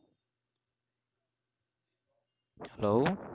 hello